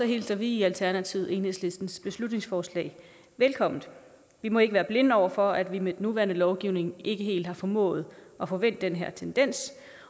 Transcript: hilser vi i alternativet enhedslistens beslutningsforslag velkommen vi må ikke være blinde over for at vi med den nuværende lovgivning ikke helt har formået at få vendt den her tendens